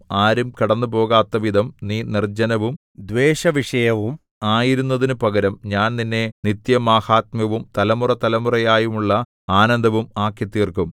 ആരും കടന്നുപോകാത്തവിധം നീ നിർജ്ജനവും ദ്വേഷവിഷയവും ആയിരുന്നതിനു പകരം ഞാൻ നിന്നെ നിത്യമാഹാത്മ്യവും തലമുറതലമുറയായുള്ള ആനന്ദവും ആക്കിത്തീർക്കും